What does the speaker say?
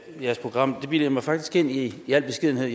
jeres program det bilder jeg mig faktisk i i al beskedenhed